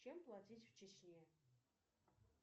чем платить в чечне